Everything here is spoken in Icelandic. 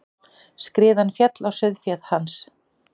Skriðan féll á sauðféð hans.